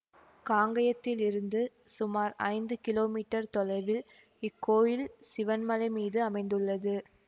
காங்கயத்திலிருந்து சுமார் ஐந்து கிலோமீட்டர் தொலைவில் இக்கோயில் சிவன்மலை மீது அமைந்துள்ளது